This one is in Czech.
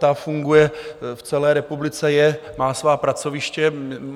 Ta funguje v celé republice, má svá pracoviště.